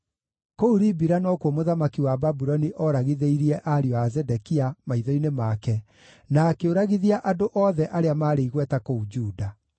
Kũu Ribila nokuo mũthamaki wa Babuloni oragithĩirie ariũ a Zedekia, maitho-inĩ make, na akĩũragithia andũ othe arĩa maarĩ igweta kũu Juda.